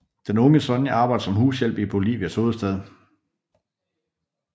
Den unge Sonia arbejder som hushjælp i Bolivias hovedstad